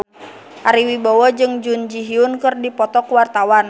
Ari Wibowo jeung Jun Ji Hyun keur dipoto ku wartawan